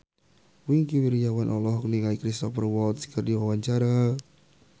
Wingky Wiryawan olohok ningali Cristhoper Waltz keur diwawancara